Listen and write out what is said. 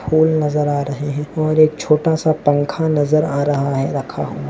फूल नजर आ र हैं और एक छोटा सा पंखा नजर आ रहा है रखा हुआ--